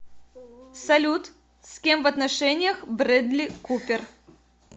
салют с кем в отношениях брэдли купер